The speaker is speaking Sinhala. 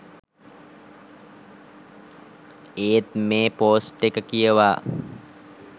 ඒත් මෙ පොස්ට් එක කියවා